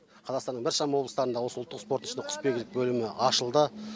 қазақстанның біршама облыстарында осы ұлттық спорт ішінде құсбегілік бөлімі ашылды